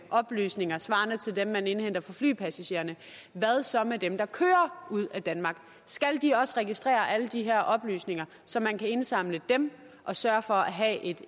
oplysninger svarende til dem man indhenter fra flypassagererne hvad så med dem der kører ud af danmark skal de også registrere alle de her oplysninger så man kan indsamle dem og sørge for at have et